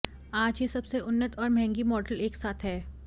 आज यह सबसे उन्नत और महंगी मॉडल एक साथ है